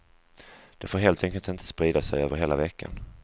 De får helt enkelt inte sprida sig över hela veckan.